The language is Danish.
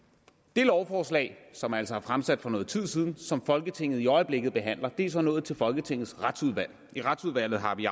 det lovforslag som altså er fremsat for nogen tid siden og som folketinget i øjeblikket behandler er så nået til folketingets retsudvalg i retsudvalget har vi